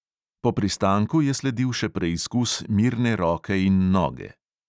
Po pristanku je sledil še preizkus mirne roke in noge.